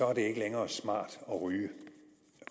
er det ikke længere smart at ryge